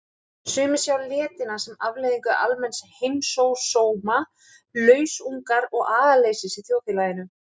Sumir sjá letina sem afleiðingu almenns heimsósóma, lausungar og agaleysis í þjóðfélaginu.